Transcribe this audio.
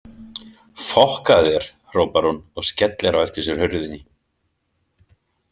Fokkaðu þér, hrópar hún og skellir á eftir sér hurðinni.